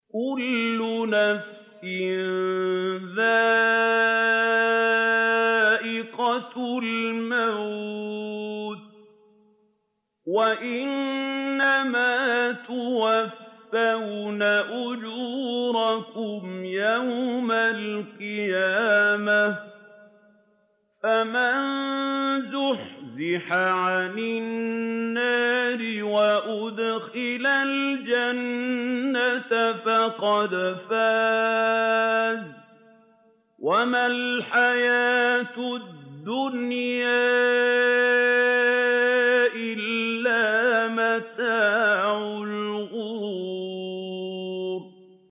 كُلُّ نَفْسٍ ذَائِقَةُ الْمَوْتِ ۗ وَإِنَّمَا تُوَفَّوْنَ أُجُورَكُمْ يَوْمَ الْقِيَامَةِ ۖ فَمَن زُحْزِحَ عَنِ النَّارِ وَأُدْخِلَ الْجَنَّةَ فَقَدْ فَازَ ۗ وَمَا الْحَيَاةُ الدُّنْيَا إِلَّا مَتَاعُ الْغُرُورِ